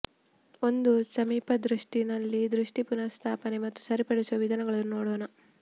ಒಂದು ಸಮೀಪದೃಷ್ಟಿ ನಲ್ಲಿ ದೃಷ್ಟಿ ಪುನಃಸ್ಥಾಪನೆ ಮತ್ತು ಸರಿಪಡಿಸುವ ವಿಧಾನಗಳನ್ನು ನೋಡೋಣ